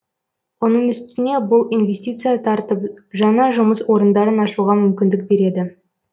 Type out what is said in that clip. оның үстіне бұл инвестиция тартып жаңа жұмыс орындарын ашуға мүмкіндік береді